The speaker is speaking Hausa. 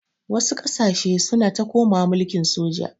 Wasu ƙasashe suna ta komawa mulkin soja.